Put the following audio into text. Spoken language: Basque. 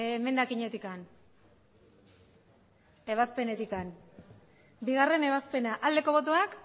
emendakinetik ebazpenetik bigarren ebazpena aldeko botoak